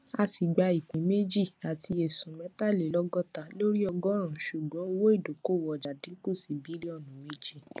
asi gba ìpín méjì àti esun metalelogota lórí ọgọrun ṣùgbọn owó idokowo ọjà dínkù sí bilionu méje